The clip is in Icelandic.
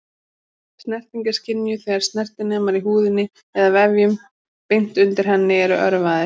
Snerting er skynjuð þegar snertinemar í húðinni eða vefjum beint undir henni eru örvaðir.